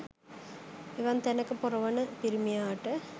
එවන් තැනක පොර වන පිරිමියාට